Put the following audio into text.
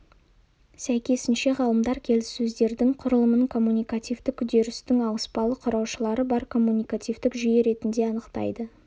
сәйкесінше ғалымдар келіссөздердің құрылымын коммуникативтік үдерістің ауыспалы құраушылары бар коммуникативтік жүйе ретінде анықтайды